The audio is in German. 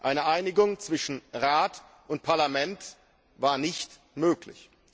Eine Einigung zwischen Rat und Parlament war nicht möglich.